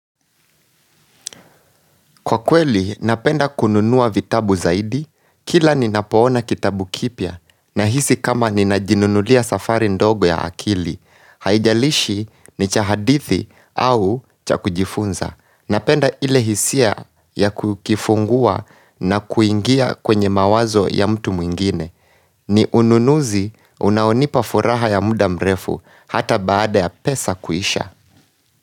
Kwa kweli, napenda kununua vitabu zaidi, kila ninapoona kitabu kipya, ninahisi kama ninajinunulia safari ndogo ya akili, haijalishi ni cha hadithi au cha kujifunza. Napenda ile hisia ya kukifungua na kuingia kwenye mawazo ya mtu mwingine. Ni ununuzi unaonipa furaha ya muda mrefu, hata baada ya pesa kuisha.